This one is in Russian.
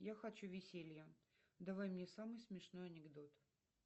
я хочу веселья давай мне самый смешной анекдот